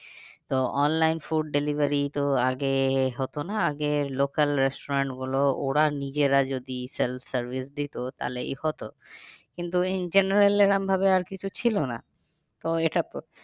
তো online food delivery তো আগে হতো না আগে local restaurant গুলো ওরা নিজেরা যদি sell service দিতো তাহলে এ হতো। কিন্তু in general এরম ভাবে আর কিছু ছিল না তো এটা